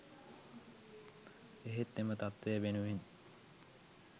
එහෙත් එම තත්ත්වය වෙනුවෙන්